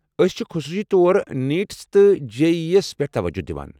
أسۍ چھِ خصوصی طور نیٖٹس تہِ جے ای ای ہس پٮ۪ٹھ توجہ دوان۔